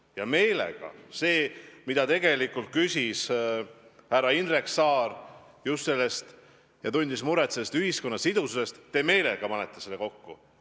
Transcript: Ja meelega – see, mida tegelikult küsis härra Indrek Saar, tundes muret ühiskonna sidususe pärast –, te meelega panete selle kokku.